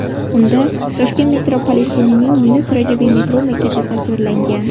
Unda Toshkent metropolitenining Yunus Rajabiy metro bekati tasvirlangan.